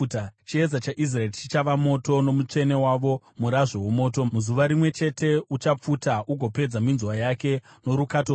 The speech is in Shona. Chiedza chaIsraeri chichava moto, noMutsvene wavo murazvo womoto; muzuva rimwe chete uchapfuta ugopedza minzwa yake norukato rwake.